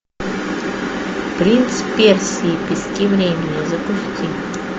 принц персии пески времени запусти